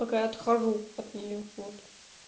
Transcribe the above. пока отхожу от неё вот